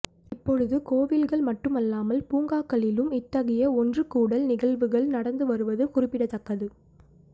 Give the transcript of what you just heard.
இப்பொழுது கோயில்கள் மட்டுமல்லாமல் பூங்காக்களிலும் இத்தகைய ஒன்றுகூடல் நிகழ்வுகள் நடந்து வருவது குறிப்பிடத்தக்கது